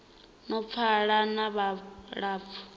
no pfala na vhulapfu ho